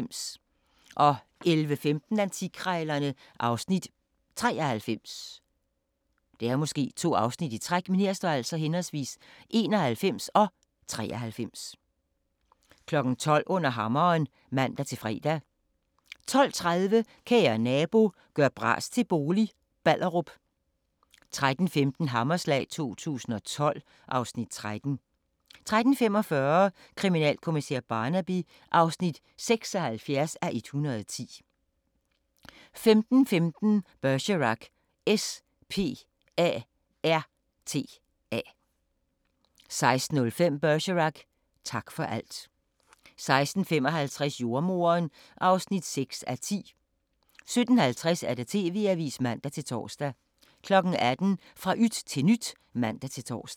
11:15: Antikkrejlerne (Afs. 93) 12:00: Under hammeren (man-fre) 12:30: Kære nabo – gør bras til bolig – Ballerup 13:15: Hammerslag 2012 (Afs. 13) 13:45: Kriminalkommissær Barnaby (76:110) 15:15: Bergerac: S.P.A.R.T.A. 16:05: Bergerac: Tak for alt 16:55: Jordemoderen (6:10) 17:50: TV-avisen (man-tor) 18:00: Fra yt til nyt (man-tor)